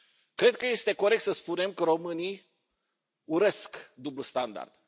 Cred că este corect să spunem că românii urăsc dublul standard.